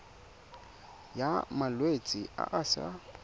ya malwetse a a sa